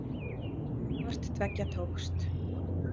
Hvort tveggja tókst.